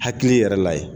Hakili yɛrɛ la ye